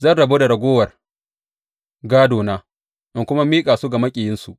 Zan rabu da ragowar gādona, in kuma miƙa su ga maƙiyansu.